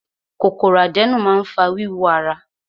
Kòkòrò àdénù máa ń fa wíwú ara.